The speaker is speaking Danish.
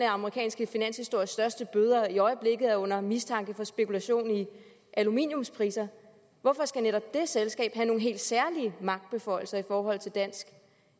amerikanske finanshistories største bøder og som i øjeblikket er under mistanke for spekulation i aluminiumspriser skal have nogle helt særlige magtbeføjelser i forhold til dansk